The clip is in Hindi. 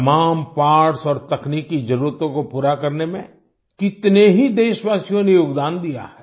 तमाम पार्ट्स और तकनीकी जरूरतों को पूरा करने में कितने ही देशवासियों ने योगदान दिया है